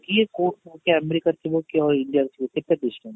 କିଏ କୋଉ ଆମେରିକାରେ ଥିବ କିଏ ଆଉ ଇଣ୍ଡିଆରେ ଥିବ କେତେ distance